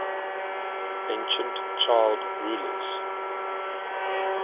ancient child rulers